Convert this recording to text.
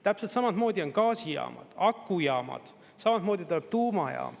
Täpselt samamoodi on gaasijaamad, akujaamad, samamoodi tuleb tuumajaam.